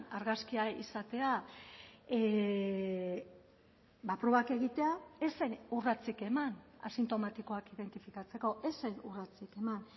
argazkia izatea probak egitea ez zen urratsik eman asintomatikoak identifikatzeko ez zen urratsik eman